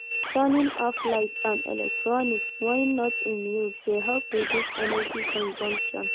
Turning off lights and electronics when not in use dey help reduce energy consumption.